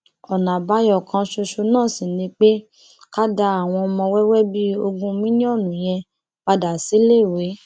ọnà àbáyọ kan ṣoṣo náà sì ni pé ká dá àwọn ọmọ wẹwẹ bíi ogún mílíọnù yẹn padà síléèwé